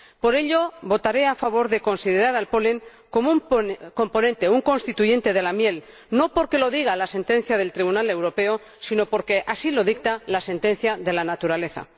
Por ello, votaré a favor de considerar el polen como un componente, un constituyente de la miel, no porque lo diga la sentencia del Tribunal Europeo, sino porque así lo dicta la sentencia de la naturaleza.